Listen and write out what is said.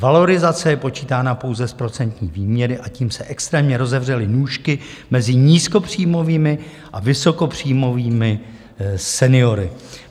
Valorizace je počítána pouze z procentní výměry, a tím se extrémně rozevřely nůžky mezi nízkopříjmovými a vysokopříjmovými seniory.